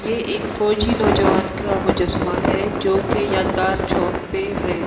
ये एक फौजी नौजवान का मुजस्समा है जो कि यादगार चौक पे है।